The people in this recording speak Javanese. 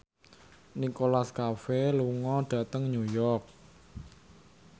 Nicholas Cafe lunga dhateng New York